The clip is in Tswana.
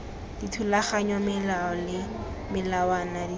dithulaganyo melao le melawana tirelo